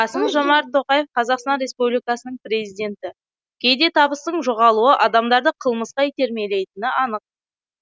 қасым жомарт тоқаев қазақстан республикасының президенті кейде табыстың жоғалуы адамдарды қылмысқа итермелейтіні анық